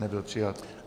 Nebyl přijat.